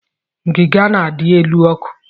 Ngiga na-adị n'elu ọkụ.